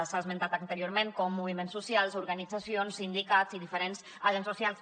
s’ha esmentat anteriorment com moviments socials organitzacions sindicats i diferents agents socials